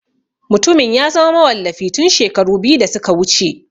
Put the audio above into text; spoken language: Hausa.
Mutumin ya zama mawallafi tun shekaru biyu da suka wuce.